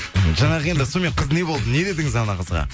жаңағы енді сонымен қыз не болды не дедіңіз анау қызға